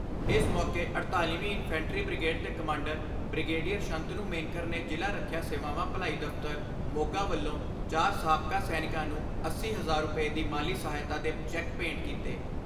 ਇਸ ਮੌਕੇ ਅੜਤਾਲੀ ਵੀਂ ਇੰਨਫੈਂਟਰੀ ਬ੍ਰਿਗੇਡ ਦੇ ਕਮਾਂਡਰ ਬ੍ਰਿਗੇਡੀਅਰ ਸੰਤਨੂ ਮੇਨਕਰ ਨੇ ਜ਼ਿਲ੍ਹਾ ਰੱਖਿਆ ਸੇਵਾਵਾਂ ਭਲਾਈ ਦਫ਼ਤਰ ਮੋਗਾ ਵੱਲੋਂ ਚਾਰ ਸਾਬਕਾ ਸੈਨਿਕਾਂ ਨੂੰ ਅੱਸੀ ਹਜ਼ਾਰ ਰੁਪਏ ਦੀ ਮਾਲੀ ਸਹਾਇਤਾ ਦੇ ਚੈੱਕ ਭੇਂਟ ਕੀਤੇ।